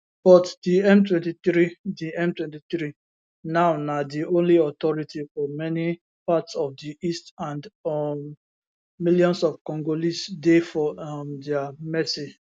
but di m23 di m23 now na di only authority for many parts of di east and um millions of congolese dey for um dia mercy